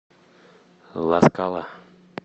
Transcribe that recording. ла скала